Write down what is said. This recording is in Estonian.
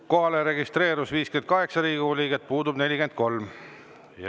Kohalolijaks registreerus 58 Riigikogu liiget, puudub 43.